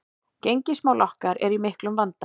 Gengismál okkar eru í miklum vanda